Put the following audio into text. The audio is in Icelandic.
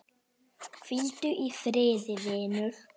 Hvíldu í friði vinur.